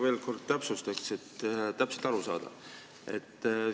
Ma veel kord täpsustan, et täpselt aru saada.